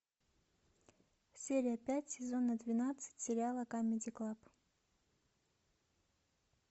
серия пять сезона двенадцать сериала камеди клаб